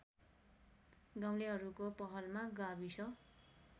गाउँलेहरूको पहलमा गाविस